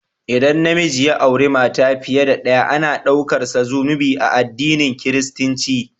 ldan na miji ya auri mata fiye da ɗaya, ana ɗaukarsa zunubi a adinin kiristinci.